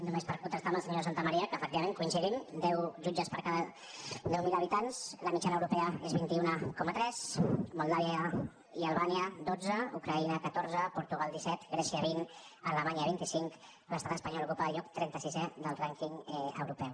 només per contestar al senyor san·tamaría que efectivament coincidim deu jutges per cada deu mil habitants la mitjana europea és de vint un coma tres moldàvia i albània dotze ucraïna catorze portugal disset grè·cia vint alemanya vint cinc l’estat espanyol ocupa el lloc trenta·sisè del rànquing europeu